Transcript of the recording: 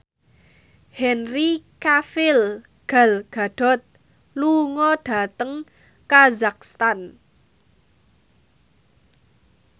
Henry Cavill Gal Gadot lunga dhateng kazakhstan